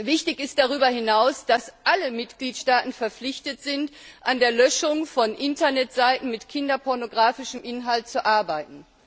Wichtig ist darüber hinaus, dass alle Mitgliedstaaten verpflichtet sind, an der Löschung von Internetseiten mit kinderpornografischem Inhalt zu arbeiten.